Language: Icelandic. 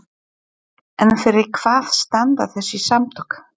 En fyrir hvað standa þessi samtök?